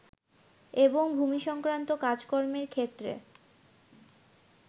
এবং ভুমিসংক্রান্ত কাজ কর্মের ক্ষেত্রে